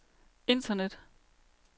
internet